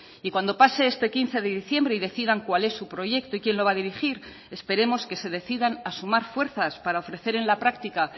y cuando pase este quince de diciembre y decidan cuál es su proyecto y quien lo va a dirigir esperemos que se decidan a sumar fuerzas para ofrecer en la práctica